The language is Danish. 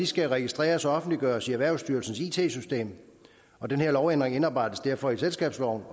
skal registreres og offentliggøres i erhvervsstyrelsens it system og den her lovændring indarbejdes derfor i selskabsloven